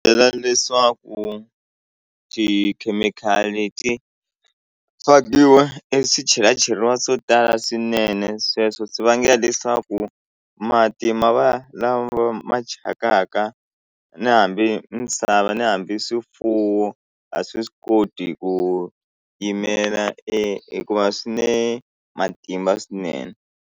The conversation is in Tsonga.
Byela leswaku tikhemikhali ti fakiwa e swichelacheriwi swo tala swinene sweswo swi vangela leswaku mati ma va lama ma thyakaka ni hambi misava ni hambi swifuwo a swi koti ku yimela e hikuva swinene matimba swinene.